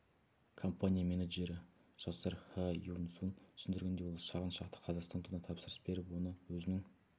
компания менеджері жасар ха юн сун түсіндіргендей ол шағын шақты қазақстан туына тапсырыс беріп оны өзінің